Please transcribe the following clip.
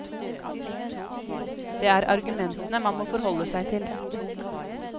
Det er argumentene man må forholde seg til.